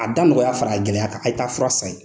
A da nɔgɔya fara a gɛlɛya kan, a ye ta fura san yen.